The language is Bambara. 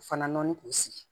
Fana nɔni k'u sigi